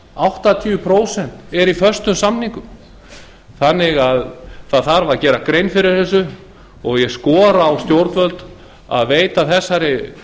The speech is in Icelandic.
áttatíu prósent eru í föstum samningum það þarf að gera grein fyrir þessu og ég skora á stjórnvöld að veita þessari